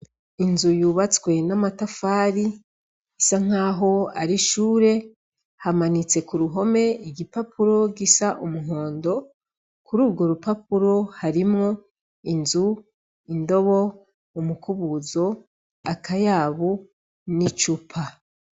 Inzu yubatswe n'amatafari isa nkaho ari ishure hamanitse ku ruhome igipapuro gisa umuhondo kururwo rupapuro harimwo :inzu, indobo, umukubuzo, akayabu n'icupa.